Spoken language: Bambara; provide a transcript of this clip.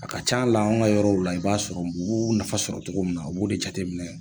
A ka ca la an ga yɔrɔw la, i b'a sɔrɔ b'u nafa sɔrɔ cogo min na, u b'o de jateminɛ